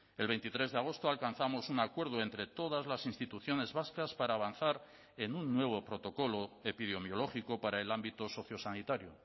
el veintitrés de agosto alcanzamos un acuerdo entre todas las instituciones vascas para avanzar en un nuevo protocolo epidemiológico para el ámbito sociosanitario